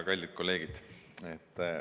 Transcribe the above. Kallid kolleegid!